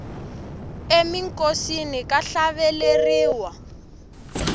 eminkosini ka hlaveleriwa